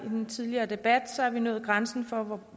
i den tidligere debat har vi nået grænsen for